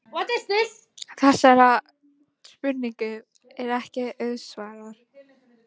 Þessari spurningu er ekki auðsvarað.